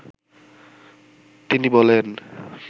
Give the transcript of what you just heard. তিনি বলেন